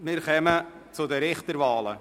Wir kommen zu den Richterwahlen.